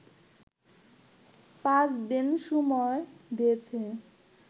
পাঁচদিন সময় দিয়েছে